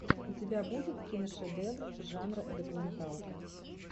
у тебя будет киношедевр жанра документалка